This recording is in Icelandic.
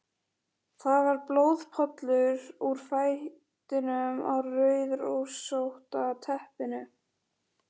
Það var blóðpollur úr fætinum á rauðrósótta teppinu.